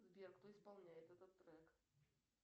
сбер кто исполняет этот трек